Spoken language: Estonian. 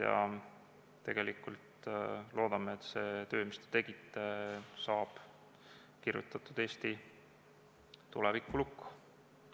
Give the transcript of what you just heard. Me tegelikult loodame, et see töö, mis te tegite, saab kirjutatud Eesti tulevikulukku.